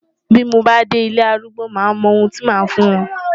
Bí mo bá dé ilé arúgbó máa mọ ohun tí màá fún wọn.